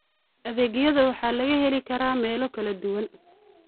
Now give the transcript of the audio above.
Adeegyada waxaa laga heli karaa meelo kala duwan.